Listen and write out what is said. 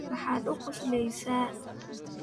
maxaad ku qoslaysaa?